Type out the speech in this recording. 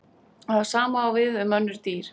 Það sama á við um önnur dýr.